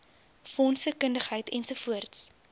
fondse kundigheid ens